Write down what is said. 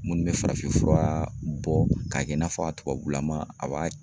Munnu bɛ farafin fura bɔ k'a kɛ i n'a fɔ a tubabulama a b'a